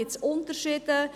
Gibt es Unterschiede?